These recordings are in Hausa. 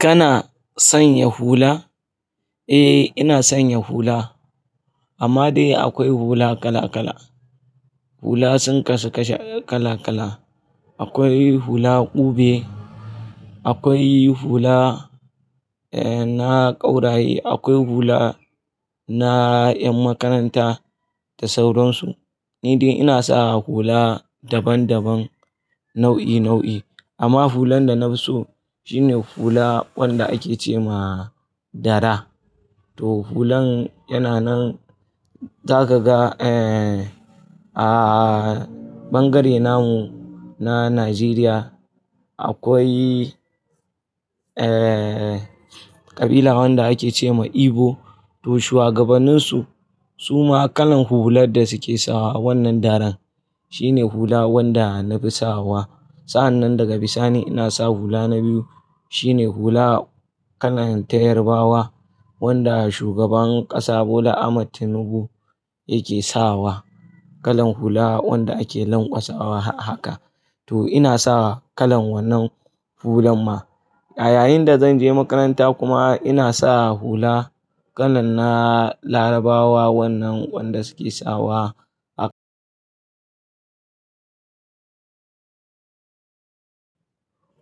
Kana sanya hula? Eh, ina sanya hula. Amma dai akwai hula kala kala. Hula sun kasu kashe kala kala. Akwai hula ƙube, akwai hula, eh, na ƙauraye, akwai hula na ƴan makaranta da sauransu. Ni dai ina sa hula daban daban nau'i nau'i. Amma hulan da na fi so shine hula wanda ake ce ma dara. To hulan yana nan, za ka ga, eh, a ɓangare namu na Najeriya akwai, eh, ƙabila wanda ake ce ma Igbo. Toh shuwagabannin su, su ma kalan hulan da suke sawa wannan daran shine hula wanda nafi sawa. Sa'annan daga bisani ina sa hula na biyu shine hula kalan ta Yarbawa wanda shugaban ƙasa Bola Ahmad Tinubu yake sawa. Kalan hula wanda ake lanƙwasawa haka. To ina sawa kalan wannan hulan ma. Yayin da danje makaranta kuma inasa hula kalan na larabawa wannnan wanda suke sawa ahh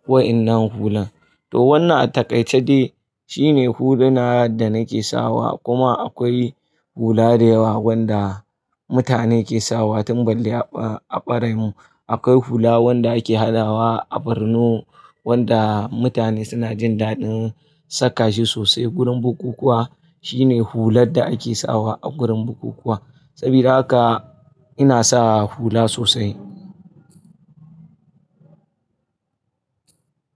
wa'innan hulan to wannan a taƙaice dai shine huluna da nake sawa kuma akwai hula da yawa wanda mutane ke sawa tun balle a ɓa-a ɓare mun. Akwai hula wanda ake hadawa a Borno wanda mutane suna jin daɗin saka shi sosai. Gurin bukukkuwa shine hular da ake sawa a gurin bukukkuwa. Sabida haka ina sa hula sosai.